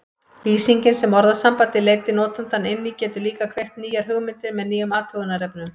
Lýsingin sem orðasambandið leiddi notandann inn í getur líka kveikt nýjar hugmyndir með nýjum athugunarefnum.